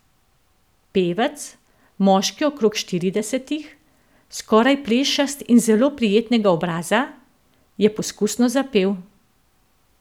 Pevec, moški okrog štiridesetih, skoraj plešast in zelo prijetnega obraza, je poskusno zapel.